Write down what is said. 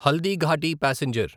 Haldighati passenger